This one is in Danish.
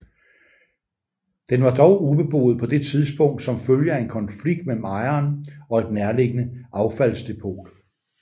Den var dog ubeboet på det tidspunkt som følge af en konflikt mellem ejeren og et nærliggende affaldsdepot